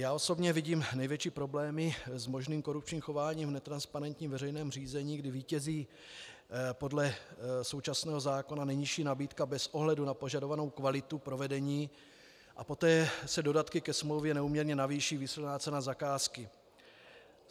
Já osobně vidím největší problémy s možným korupčním chováním v netransparentním veřejném řízení, kdy vítězí podle současného zákona nejnižší nabídka bez ohledu na požadovanou kvalitu provedení a poté se dodatky ke smlouvě neúměrně navýší výsledná cena zakázky.